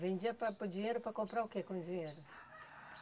Vendia para para o dinheiro para comprar o que com o dinheiro?